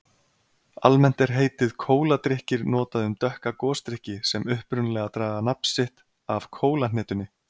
Almennt er heitið kóladrykkir notað um dökka gosdrykki sem upprunalega draga nafn sitt af kólahnetunni.